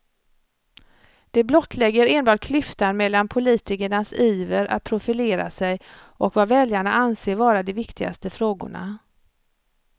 Det blottlägger enbart klyftan mellan politikernas iver att profilera sig och vad väljarna anser vara de viktigaste frågorna.